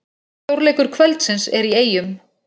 Stórleikur kvöldsins er í Eyjum